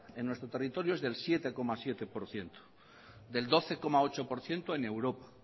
en nuestro territorio es del siete coma siete por ciento del doce coma ocho por ciento en europa